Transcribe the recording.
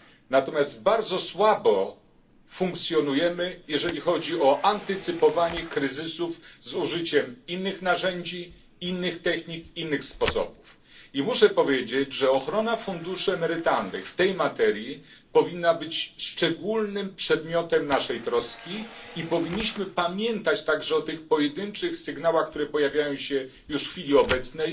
Natomiast bardzo słabo funkcjonujemy, jeżeli chodzi o antycypowanie kryzysów z użyciem innych narzędzi, innych technik, innych sposobów. I muszę powiedzieć, że ochrona funduszy emerytalnych w tej materii powinna być przedmiotem naszej szczególnej troski i powinniśmy pamiętać także o tych pojedynczych sygnałach, które pojawiają się już w chwili obecnej,